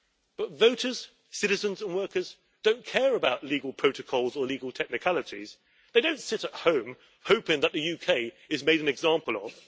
But voters, citizens and workers don't care about legal protocols or legal technicalities, they don't sit at home hoping that the UK is made an example of.